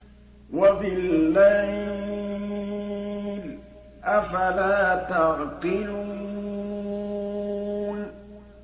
وَبِاللَّيْلِ ۗ أَفَلَا تَعْقِلُونَ